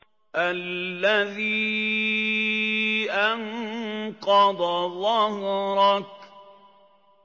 الَّذِي أَنقَضَ ظَهْرَكَ